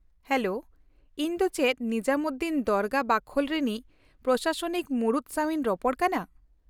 Hello, ᱤᱧ ᱫᱚ ᱪᱮᱫ ᱱᱤᱡᱟᱢᱩᱫᱫᱤᱱ ᱫᱚᱨᱜᱟ ᱵᱟᱠᱷᱳᱞ ᱨᱤᱱᱤᱡ ᱯᱨᱚᱥᱟᱥᱚᱱᱤᱠ ᱢᱩᱬᱩᱫ ᱥᱟᱶ ᱤᱧ ᱨᱚᱯᱚᱲ ᱠᱟᱱᱟ?